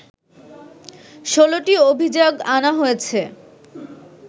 ১৬টি অভিযোগ আনা হয়েছে